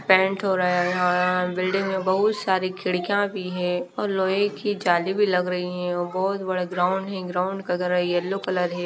Paint हो रहा है बिल्डिंग में बहुत सारी खिड़कियां भी है और लोहे की जाली भी लग रही है और बहुत बड़ा ग्राउंड है ग्राउंड का अगर एलो कलर है।